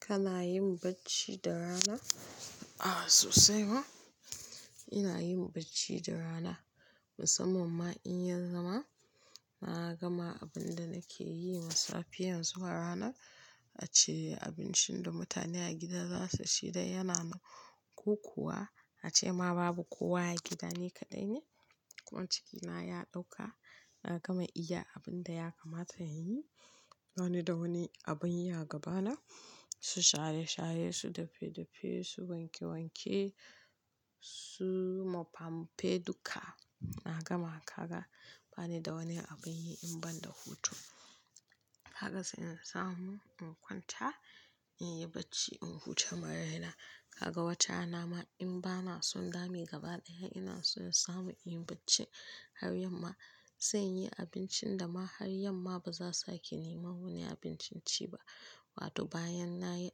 Kana yin bacci da rana? Aa sosai ma ina yin bacci da rana musamman ma in ya zama. Na gama abin da nake yi daga safiya zuwa rana ace abincin da mutane a gida za su ci dai yana na kokuwa a ce ma babu kowa a gida ni kaɗai ne. Kuma cikina ya ɗauka na gama iya abin da ya kamata in yi. Wani da wani abin ya gabana, su shaye-shaye, su dafe-dafe, su wanke-wanke, su mofampe duka. Na gama kaga bani da wani abin yi in ban da hutu. Haka sai in samu in kwanta in yi bacci in huta ma raina. Kaga wata rama in bana son dami gaba ɗaya ina so in samu in yi bacci har yamma. Sai in yi abincin da ma har yamma ba za su sake ni ma wani abinci ci ba. Wato bayan na yi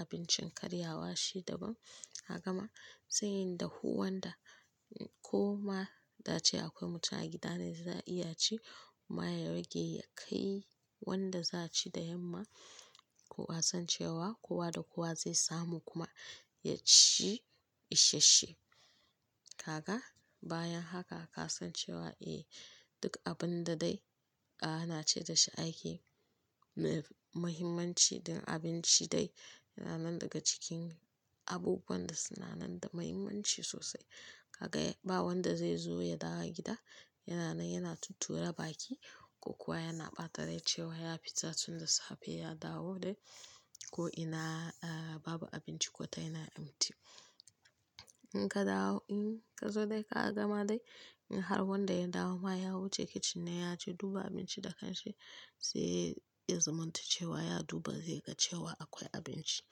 abincin karyawa shi daban. Haka ma sai inda huwan da ko ma ta ce akwai mutum a gida ne za a iya ci. Ma ya rage ya kai wanda za a ci da yamma. Ko a san cewa kowa da kowa zai samu kuma ya ci ishashshe. Kaka bayan haka ka san cewa eh duk abin da dai a'a na ce da shi aiki mai muhimmanci da abinci dai yana nan daga cikin abubuwan da suna nan da muhimmanci sosai. Kaga ba wanda zai zo ya dawo gida yana nan yana tuttura baki ko kuwa yana ɓata rai cewa ya fita tunda safe ya dawo dai ko ina a'a babu abinci ko ta yana ƴammanci. In ka dawo in ka zo dai ka gama dai in har wanda ya dawo ma ya wuce kitchen ne ya je duba abinci da kan shi sai ya zamanta cewa ya duba sai ya ga cewa akwai abinci.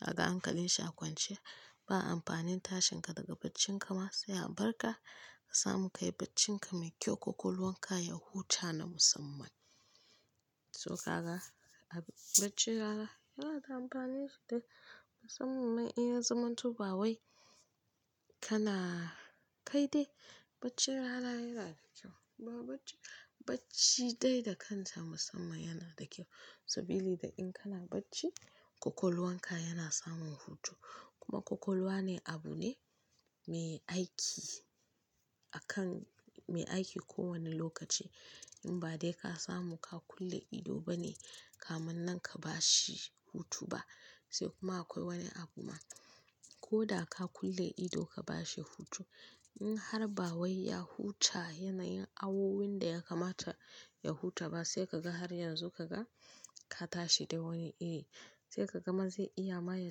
Kaga hanka linshi a kwance ba amfanin tashin ka daga baccin ka ma sai a bar ka ka samu ka yi baccin ka mai kyau ƙwaƙwalwar ka ya huta na musamman. To kaga a baccin rana yana da amfani sosai musamman ma in ya zamanto ba wai kana kai dai bacci rana yana da kyau. Ba bacci-bacci dai da kanta musamman yana da kyau. Sabili da in kana bacci ƙwaƙwalwar ka yana samun hutu kuma ƙwaƙwalwa ne abu ne mai aiki akan mai aiki kowane lokaci. In ba dai ka samu ka kulle ido bane kamun nan ka bashi hutu ba. Sai kuma akwai wani abu ma koda ka kulle ido ka bashi hutu in har ba wai ya huta yanayin awowin da ya kamata ya huta ba sai ka ga har yanzu ka ga ka tashi da wani iri. Sai ka gama zai iya ma ya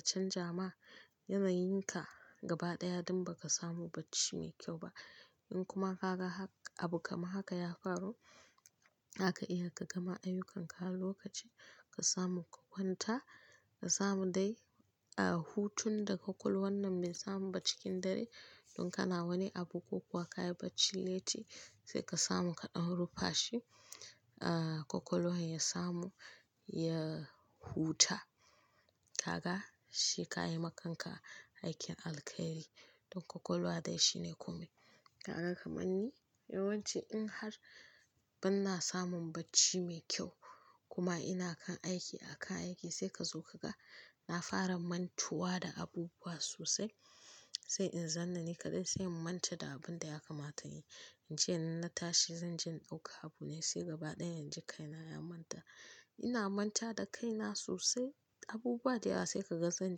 canza ma yanayin ka gaba ɗaya don ba ka samu bacci mai kyau ba. In kuma ka ga hak abu kamar haka ya faru zaka iya ka gama ayyukanka lokaci ka samu ka kwanta ka samu dai a'a hutun da ƙwaƙwalwar nan bai samu ba cikin dare. Don kana wani abu ko kuwa ka yi bacci letti sai ka samu ka ɗan rufa shi a ƙwaƙwalwar ya samu ya huta. Kaga shi ka yi ma kanka aikin alkhairi. Don ƙwaƙwalwa dai shine komai. Kaga kaman ni yawanci in har ban na samun bacci mai kyau kuma ina kan aiki a kan aiki sai ka zo ka ga na fara mantuwa da abubuwa sosai. Sai in zanna ni kaɗai sai in manta da abin da ya kamata in yi. Ince in na tashi zan je in ɗauka abu ne sai gaba ɗaya in ji kaina ya manta. Ina manta da kaina sosai abubuwa da yawa sai ka ga zan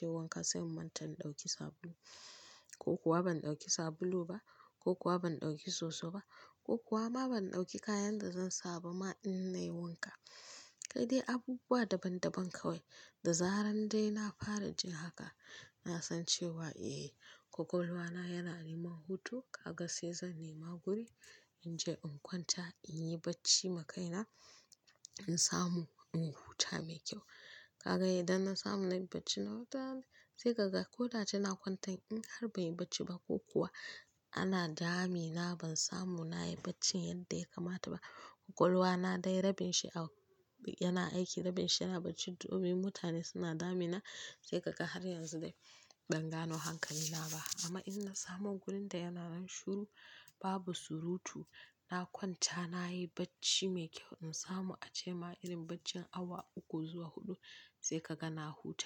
je wanka sai in manta in ɗauki sabulu ko kuwa ban ɗauki sabulu ba ko kuwa ban ɗauki soso ba ko kuwa ma ban ɗauki kayan da zan saba ma in nayi wanka. Da dai abubuwa daban-daban kawai. Da zaran dai na fara jin haka na san cewa eh ƙwaƙwalwa na yana neman hutu. Kaga sai zan nema guri in je in kwanta in yi bacci ma kaina in samu in huta mai kyau. Kaka idan na samu na yi bacci na huta dai sai ka ga koda ina kwantan in har ban yi bacci ba ko kuwa ana dami na ban samu na yi baccin yadda ya kamata ba. Ƙwaƙwalwa na dai rabin shi a yana aiki rabin shi yana bacci domin mutane suna dami na. Sai ka ga har yanzu dai ban gono hankali na ba. Amma in na samu gurin da yana nan shiru babu surutu na kwanta na yi bacci mai kyau in samu a ce ma irin baccin awa uku zuwa huɗu sai ka ga na huta.